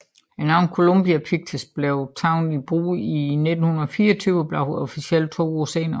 Navnet Columbia Pictures blev taget i brug i 1924 og blev officielt to år senere